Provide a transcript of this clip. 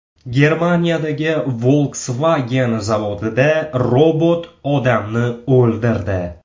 Germaniyadagi Volkswagen zavodida robot odamni o‘ldirdi.